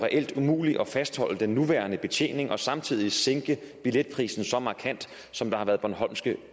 umuligt at fastholde den nuværende betjening og samtidig sænke billetprisen så markant som der har været bornholmske